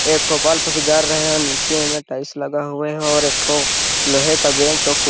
एक ठॊ बल्फ़ भी जर रहे है नीचे में टाइल्स लगा है और एक ठो लोहे का बेंच और कुर्सी --